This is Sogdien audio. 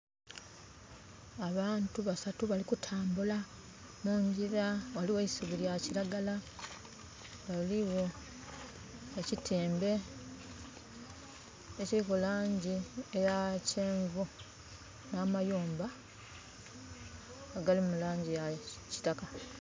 Abantu basatu bali kutambula mungyira. Ghaligho e isubi lya kiragala. Ghaligho ekitembe ekiliku laangi eya kyenvu. Nh'amayumba agali mu laangi ya kitaka.